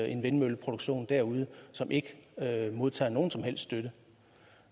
en vindmølleproduktion derude som ikke modtager nogen som helst støtte